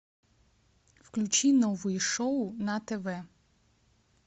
включи новые шоу на тв